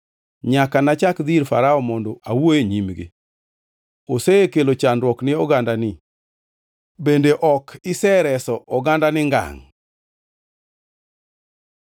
Nyaka nachak dhi ir Farao mondo awuo e nyingi, osekelo chandruok ni ogandani bende ok isereso ogandani ngangʼ.”